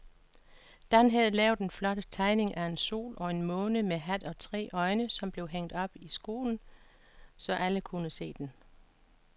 Dan havde lavet en flot tegning af en sol og en måne med hat og tre øjne, som blev hængt op i skolen, så alle kunne se den.